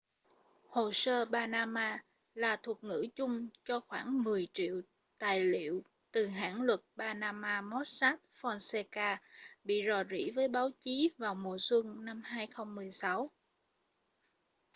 hồ sơ panama là thuật ngữ chung cho khoảng mười triệu tài liệu từ hãng luật panama mossack fonseca bị rò rỉ với báo chí vào mùa xuân 2016